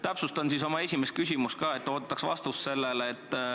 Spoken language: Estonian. Täpsustan oma esimest küsimust, ootaks sellele ikkagi vastust.